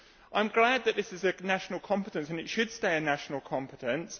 I am glad that this is a national competence, and it should stay a national competence.